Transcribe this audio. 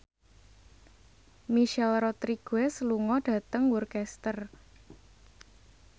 Michelle Rodriguez lunga dhateng Worcester